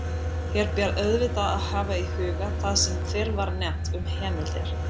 Hér ber auðvitað að hafa í huga það sem fyrr var nefnt um heimildir.